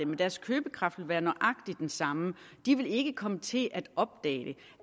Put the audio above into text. men deres købekraft vil være nøjagtig den samme de vil ikke komme til at opdage